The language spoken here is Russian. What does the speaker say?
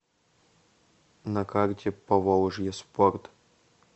на карте поволжье спорт